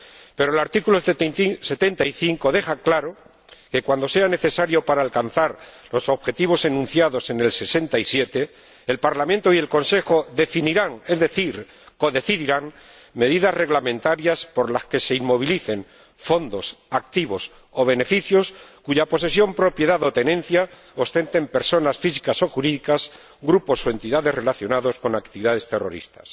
pero el artículo 75 deja claro que, cuando sea necesario para alcanzar los objetivos enunciados en el artículo 67, el Parlamento y el Consejo definirán, es decir, codecidirán, medidas reglamentarias por las que se inmovilicen fondos, activos o beneficios cuya posesión, propiedad o tenencia ostenten personas físicas o jurídicas, grupos o entidades, relacionados con actividades terroristas.